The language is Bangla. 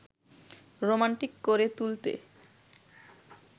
রোমান্টিক করে তুলতে